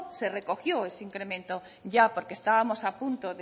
se recogió ese incremento ya porque estábamos a punto